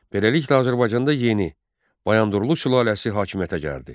Beləliklə Azərbaycanda yeni Bayandurlu sülaləsi hakimiyyətə gəldi.